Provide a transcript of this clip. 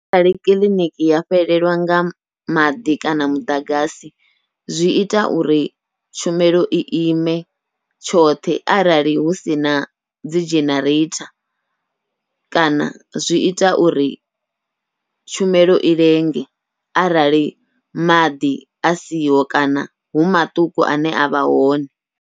Arali kiḽiniki ya fhelelwa nga maḓi kana muḓagasi zwi ita uri tshumelo i ime tshoṱhe, arali hu sina dzi genereitha kana zwi ita uri tshumelo i lenge arali maḓi a siho kana hu maṱuku ane avha hone.